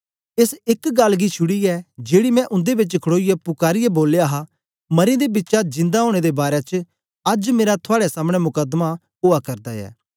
एस एक गल्ल गी छुड़ीयै जेड़ी मैं उन्दे बेच खड़ोईयै पुकारीयै बोलया हा मरें दे बिचा जिंदा ओनें दे बारै च अज्ज मेरा थुआड़े सामने मुकदमा ओआ करदा ऐ